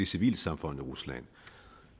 civilsamfundet i rusland